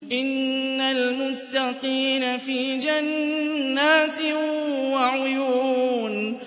إِنَّ الْمُتَّقِينَ فِي جَنَّاتٍ وَعُيُونٍ